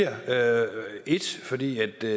at det